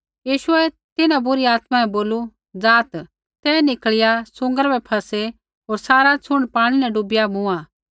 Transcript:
यीशुऐ तिन्हां बुरी आत्मा बै बोलू ज़ाआत् ते निकल़िया सूँगरा बै फ़सै होर सारा छ़ुण्ड पाणी न डुबिया मूँआ